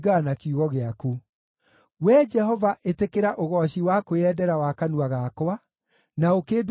Wee Jehova, ĩtĩkĩra ũgooci wa kwĩyendera wa kanua gakwa, na ũkĩndute mawatho maku.